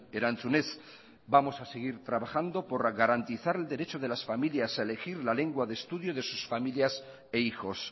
erantzunez vamos a seguir trabajando por garantizar el derecho de las familias a elegir la lengua de estudio de sus familias e hijos